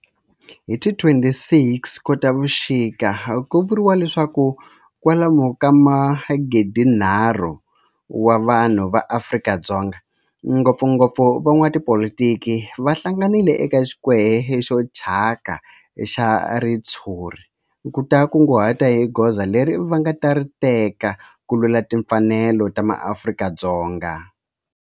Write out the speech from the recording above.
Hi ti 26 Khotavuxika ku vuriwa leswaku kwalomu ka magidi-nharhu wa vanhu va Afrika-Dzonga, ngopfungopfu van'watipolitiki va hlanganile eka square xo thyaka xa ritshuri ku ta kunguhata hi goza leri va nga ta ri teka ku lwela timfanelo ta maAfrika-Dzonga.